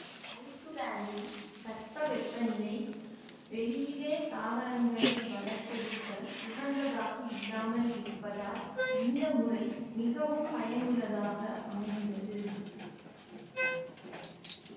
ஐசுலாந்தின் தட்பவெப்பநிலை வெளியிலே தாவரங்களை வளர்த்தெடுக்க உகந்ததாக இல்லாமல் இருப்பதால் இந்த முறை மிகவும் பயனுள்ளதாக அமைகின்றது